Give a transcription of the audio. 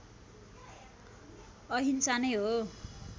अहिंसा नै हो